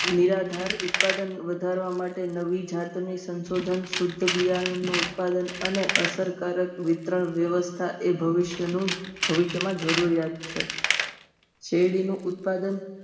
નિરાધાર ઉત્પાદન વધારવા માટે નવી જાતનું સંશોધન, શુધ્ધ બિયારણનું ઉત્પાદન અને અસરકારક વિતરણ વ્યવસ્થા એ ભવિષ્યનું, ભવિષ્યમાં જરૂરિયાત છે. શેરડીનું ઉત્પાદન